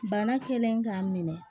Bana kɛlen k'a minɛ